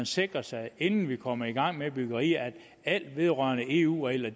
sikre sig inden vi kommer i gang med byggeriet at alt vedrørende eu regler